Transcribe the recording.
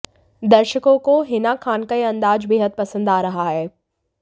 दर्शकों को हिना खान का यह अंदाज बेहद पसंद आ रहा है